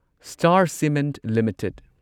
star cement limited